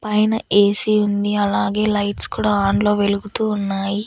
పైన ఏ_సి ఉంది అలాగే లైట్స్ కూడా ఆన్లో వెలుగుతూ ఉన్నాయి.